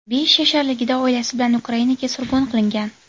Besh yasharligida oilasi bilan Ukrainaga surgun qilingan.